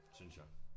Synes jeg